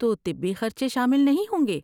تو طبی خرچے شامل نہیں ہوں گے؟